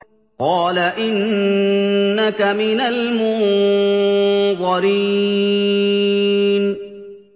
قَالَ إِنَّكَ مِنَ الْمُنظَرِينَ